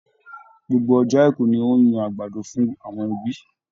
Gbogbo ọjọ́ àìkú ni ó ń yan àgbàdo fún àwọn ẹbí.